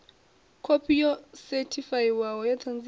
khophi yo sethifaiwaho ya ṱhanziela